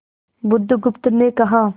बुधगुप्त ने कहा